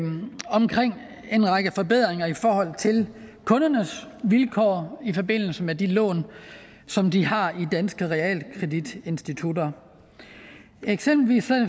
omkring en række forbedringer i forhold til kundernes vilkår i forbindelse med de lån som de har i danske realkreditinstitutter eksempelvis